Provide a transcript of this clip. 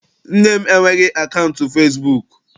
Nne m enweghị akaụntụ fesibuuku.